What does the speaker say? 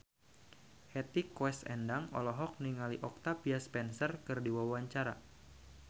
Hetty Koes Endang olohok ningali Octavia Spencer keur diwawancara